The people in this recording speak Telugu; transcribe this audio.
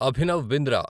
అభినవ్ బింద్రా